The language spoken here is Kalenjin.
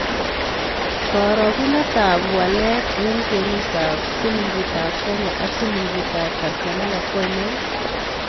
Karogunetap walet eng' kwenutap silingitap Kenya ak silingitap Tanzania ko ainon